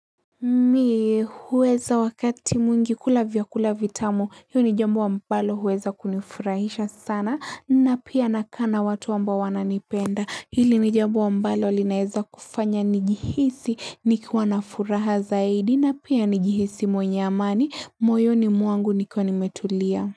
Mi huweza wakati mwingi kula vyakula vitamu hiyo ni jambo ambalo huweza kunifurahisha sana na pia nakaa na watu ambao wananipenda hili ni jambo ambalo linaeza kufanya njihisi nikiwa na furaha zaidi na pia nijihisi mwenye amani moyoni mwangu nikiwa nimetulia.